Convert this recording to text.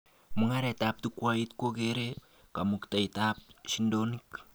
Mugaretab chukwait kokeree kamuketab shindonik